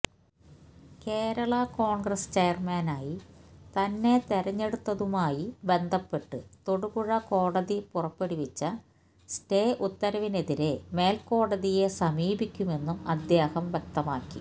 കേരള കോണ്ഗ്രസ് ചെയര്മാനായി തന്നെ തിരഞ്ഞെടുത്തതുമായി ബന്ധപ്പെട്ട് തൊടുപുഴ കോടതി പുറപ്പെടുവിച്ച സ്റ്റേ ഉത്തരവിനെതിരെ മേല്ക്കോടതിയെ സമീപിക്കുമെന്നും അദ്ദേഹം വ്യക്തമാക്കി